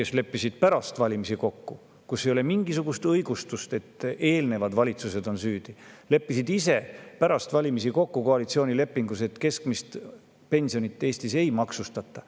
Siin ei ole mingisugust õigustust, et eelnevad valitsused on süüdi – leppisid pärast valimisi kokku koalitsioonilepingus, et keskmist pensionit Eestis ei maksustata.